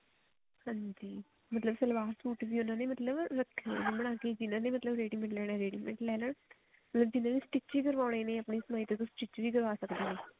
ਹਾਂਜੀ ਮਤਲਬ ਸਲਵਾਰ ਸੂਟ ਵੀ ਉਹਨਾ ਨੇ ਮਤਲਬ ਰੱਖੇ ਹੋਏ ਨੇ ਬਣਾ ਕੇ ਜਿਹਨਾ ਨੇ ਮਤਲਬ ready mate ਲੈਣੇ ਨੇ ਉਹ ready mate ਲੈ ਲੈਣ ਜਿਹਨਾ ਨੇ stitch ਹੀ ਕਰਵਾਉਣੇ ਨੇ ਆਪਣੀ ਉਹ stitch ਵੀ ਕਰਵਾ ਸਕਦੇ ਨੇ